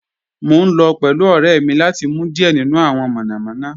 Mo n lọ pẹ̀lú ọ̀rẹ́ mi lati mu diẹ̀ nínu awọn monomono